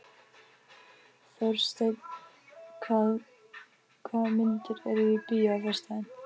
Þórsteinn, hvaða myndir eru í bíó á föstudaginn?